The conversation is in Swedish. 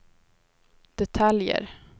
detaljer